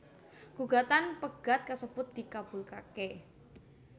Gugatan pegat kasebut dikabulaké